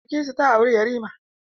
Bilkisu ta auri yarima.